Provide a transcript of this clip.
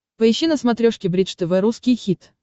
поищи на смотрешке бридж тв русский хит